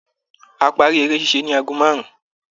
A parí eré ṣíṣe ní ago márùn-ún.